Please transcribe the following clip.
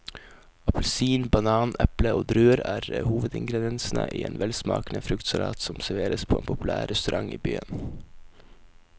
Appelsin, banan, eple og druer er hovedingredienser i en velsmakende fruktsalat som serveres på en populær restaurant i byen.